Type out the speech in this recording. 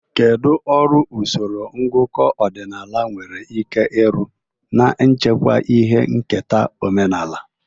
Kedu ọrụ usoro ngụkọ ọdịnala nwere ike ịrụ n'ichekwa ihe nketa omenala?